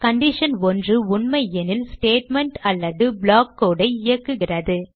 condition 1 உண்மையெனில் statement அல்லது block code ஐ இயக்குகிறது